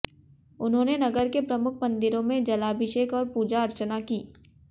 उन्होंने नगर के प्रमुख मंदिरों में जलाभिषेक और पूजा अर्चना की